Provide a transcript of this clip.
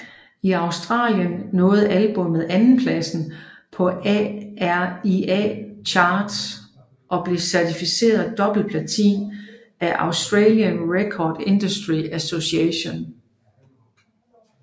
I Australien nåede albummet andenpladsen på ARIA Charts og blev certificeret dobbeltplatin af Australian Recording Industry Association